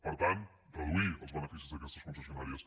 per tant reduir els beneficis d’aquestes concessionàries